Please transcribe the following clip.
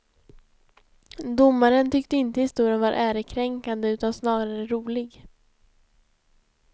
Domaren tyckte inte historien var ärekränkande utan snarare rolig.